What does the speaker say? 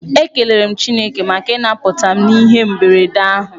Ekelere m Chineke maka ịnaputa m n'ihe mberede ahụ.